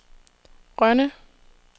Rønne